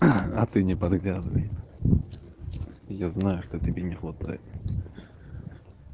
а ты не подглядывай я знаю что тебе не хватает